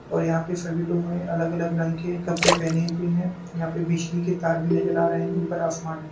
और यह पे सभी लोगों ने अलग अलग रंग के कपड़े पहने हुए हैं। यहाँं पे बिजली के तार भी नजर आ रहे हैं। ऊपर आसमान है।